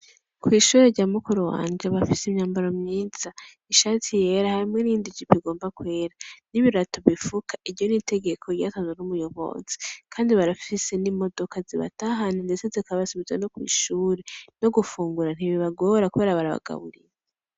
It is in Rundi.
Kw'ishuri rya mukuru wanje bafise imyambaro myiza ishati yera hamwe irindijibigomba kwera n'ibirato bifuka iryo n'itegeko ryataza n'umuyobozi, kandi barafise n'imodoka zibatahane ndese zikabasubiza no kw'ishure no gufungura ntibibe bagoora kwera barabagaburiye.